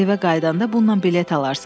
Evə qayıdanda bundan bilet alarsan.